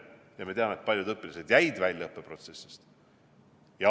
Ja me teame, et paljud õpilased jäid õppeprotsessist välja.